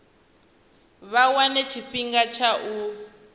vha wane tshifhinga tsha u